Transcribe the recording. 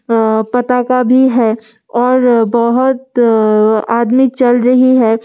आ पता का भी है और बहुत आ आदमी चल रही है एक।